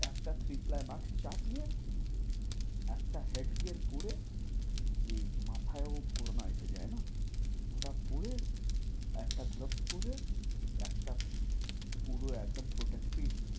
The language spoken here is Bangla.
একটা three ply mask চাপিয়ে একটা head gear পরে যে মাথায়ও করোনা এসে যায়না, ওটা পরে একটা gloves পরে একটা পুরো একদম, protective